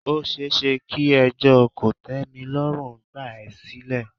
Ó ṣeéṣe kí ẹjọ́ kòtẹ́milọ́rùn gbà à sílẹ̀.